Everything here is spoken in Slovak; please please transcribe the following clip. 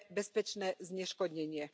bezpečné zneškodnenie.